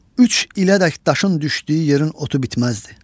Üç ilədək daşın düşdüyü yerin otu bitməzdi.